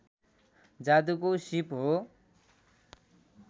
जादुको सीप हो